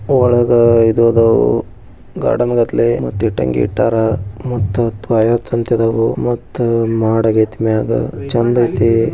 ಒಳಗ್ ಇದು ಅದವ್ ಗಾರ್ಡನ್ ಗತ್ಲೆ ಮತ್ತ ಇಡಂಗಿ ಇಟ್ಟರ್ ಇಟ್ಟಂಗಿ ಟ್ಟಾರಾ ಮತ್ತು ತ್ವಯಚ್ ಅದವು ಮತ್ತ ಮಾಡ ಆಗೈತಿ ಮ್ಯಾಗ ಚಂದ್ ಐತಿ--